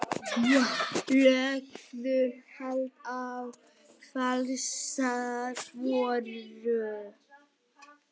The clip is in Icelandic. Lögðu hald á falsaðar vörur